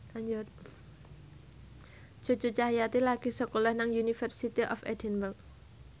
Cucu Cahyati lagi sekolah nang University of Edinburgh